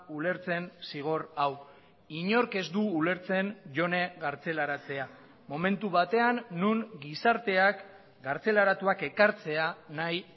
ulertzen zigor hau inork ez du ulertzen jone kartzelaratzea momentu batean non gizarteak kartzelaratuak ekartzea nahi